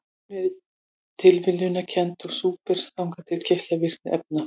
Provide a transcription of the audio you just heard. Hún er tilviljunarkennd og svipar þannig til geislavirkni efna.